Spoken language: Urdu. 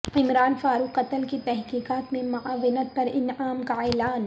عمران فارق قتل کی تحقیقات میں معاونت پرانعام کا اعلان